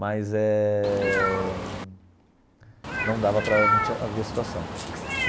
Mas eh não dava para não tinha havia situação.